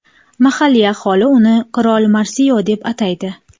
Mahalliy aholi uni Qirol Marsio deb ataydi.